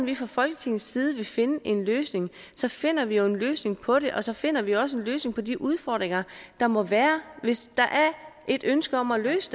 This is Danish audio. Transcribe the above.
vi fra folketingets side vil finde en løsning så finder vi jo en løsning på det og så finder vi også en løsning på de udfordringer der måtte være hvis der er et ønske om at løse